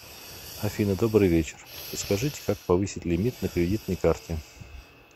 афина добрый вечер подскажите как повысить лимит на кредитной карте